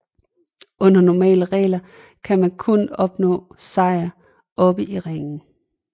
Under normale regler kan man kun opnå sejr oppe i ringen